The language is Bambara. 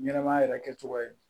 Ɲɛnɛmaya yɛrɛ kɛcogo ye